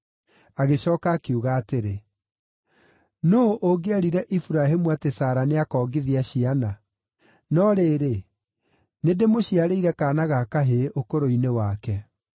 Agĩcooka akiuga atĩrĩ, “Nũũ ũngĩerire Iburahĩmu atĩ Sara nĩakongithia ciana? No rĩrĩ, nĩndĩmũciarĩire kaana ga kahĩĩ ũkũrũ-inĩ wake.”